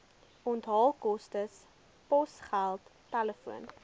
onthaalkoste posgeld telefoon